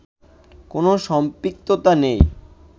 কোন সম্পৃক্ততা নেই